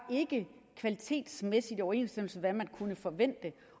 kvalitetsmæssigt i overensstemmelse med hvad man kunne forvente